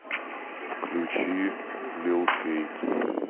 включи лил кейт